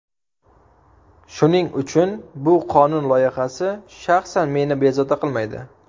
Shuning uchun bu qonun loyihasi shaxsan meni bezovta qilmaydi.